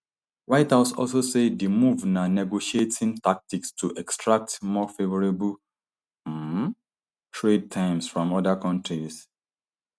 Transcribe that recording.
white house also say di move na negotiating tactic to extract more favourable um trade terms from oda kontis